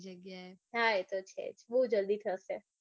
હા એતો છે બઉ જલ્દી થાશે.